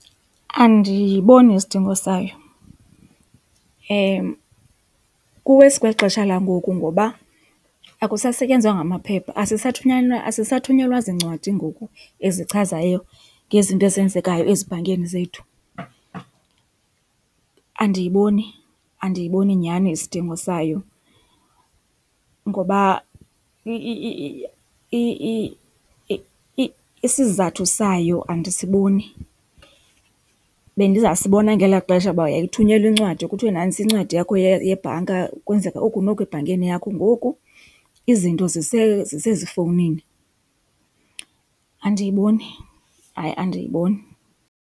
Andiyiboni isidingo sayo, kuwesi kweli xesha langoku ngoba akusasetyenzwa ngamaphepha, asisathunyelwa ziincwadi ngoku ezichazayo ngezinto ezenzekayo ezibhankini zethu. Andiyiboni, andiyiboni nyhani isidingo sayo ngoba isizathu sayo andisiboni. Bendizasibona ngelaa xesha kuba yayithunyelwa incwadi kuthiwe nantsi incwadi yakho yebhanka kwenzeka oku noku ebhankini yakho, ngoku izinto zisezifowunini. Andiyiboni, hayi andiyiboni.